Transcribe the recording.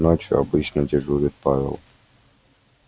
ночью обычно дежурит павел